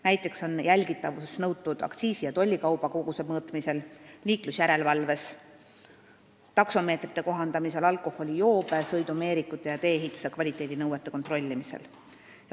Näiteks on jälgitavust nõutud aktsiisi- ja tollikauba koguste mõõtmisel, liiklusjärelevalves, taksomeetrite kohandamisel, alkoholijoobe, sõidumeerikute ja tee-ehituse kvaliteedi nõuete täitmise kontrollimisel.